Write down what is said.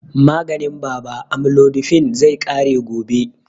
Maganin baba amlodipine, zai ƙare gobe.